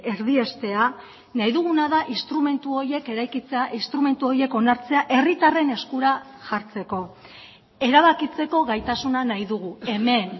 erdiestea nahi duguna da instrumentu horiek eraikitzea instrumentu horiek onartzea herritarren eskura jartzeko erabakitzeko gaitasuna nahi dugu hemen